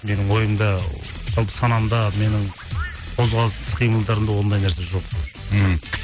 менің ойымда жалпы санамда менің қозғалыс іс қимылдарымда ондай нәрсе жоқ ммм